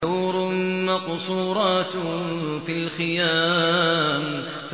حُورٌ مَّقْصُورَاتٌ فِي الْخِيَامِ